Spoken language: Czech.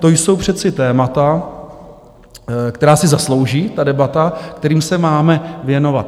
To jsou přece témata, která si zaslouží, ta debata, kterým se máme věnovat.